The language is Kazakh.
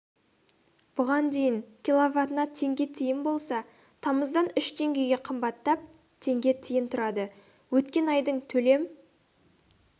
бұған дейін киловатына теңге тиын болса тамыздан үш теңгеге қымбаттап теңге тиын тұрады өткен айдың төлем